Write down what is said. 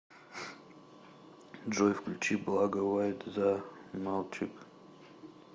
джой включи благо вайт за малчик